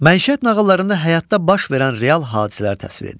Məişət nağıllarında həyatda baş verən real hadisələr təsvir edilir.